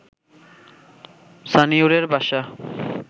সানিউরের বাসা